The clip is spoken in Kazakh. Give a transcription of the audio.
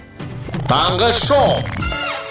таңғы шоу